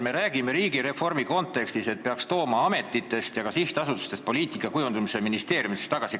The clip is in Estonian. Me räägime riigireformi kontekstis, et poliitika kujundamise peaks ametitest ja ka sihtasutustest tooma ministeeriumidesse tagasi.